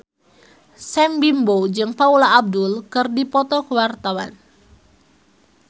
Sam Bimbo jeung Paula Abdul keur dipoto ku wartawan